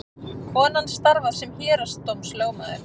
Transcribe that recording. Konan starfar sem héraðsdómslögmaður